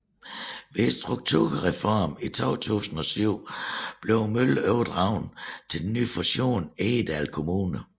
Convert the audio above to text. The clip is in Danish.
Ved strukturreformen i 2007 blev møllen overdraget til den nye fusion Egedal Kommune